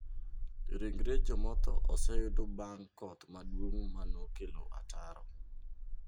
Ringre jomotho oseyud bang' koth maduong' ma nokelo ataro.